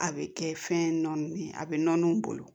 A bɛ kɛ fɛn nɔ ye a bɛ nɔninw bolo